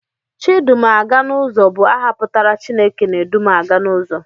Chidumaganụzọ bụ aha pụtara 'Chineke na-edu m aga n'ụzọ'